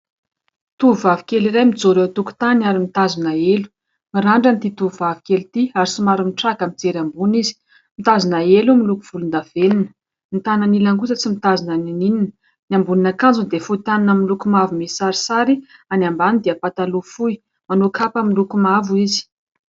tovovavy kely iray mijoro eo tokontany ary mitazona elo mirandrana ary somary mitraka mijery ambony izy mitazona elo miloko volon-davenina ny tanany ilany kosa tsy mitazona na inona na inona, ny ambonin'akanjony dia fohy tanana misy loko mavo sary any ambany dia pataloha fohy manao kapa miloko mavo izy